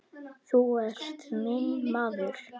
Þú ert minn maður.